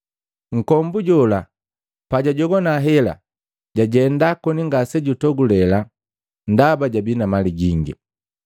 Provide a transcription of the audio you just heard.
Nkombu jola pajwajogwana hela, jwajenda koni ngasejutogulela, ndaba jabii na mali.